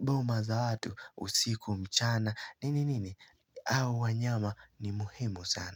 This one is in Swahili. boma za watu usiku mchana nini nini, au wanyama ni muhemu sana.